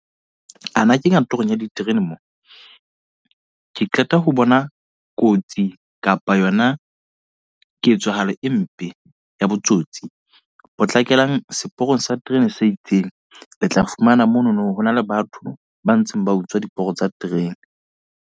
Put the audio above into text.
A na ke kantorong ya diterene mo. Ke qeta ho bona kotsi kapa yona ketsahalo e mpe, ya botsotsi. Potlakelang seporong sa terene se itseng. Le tla fumana monono, ho na le batho ba ntseng ba utswa diporo tsa terene.